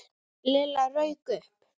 Lilla rauk upp.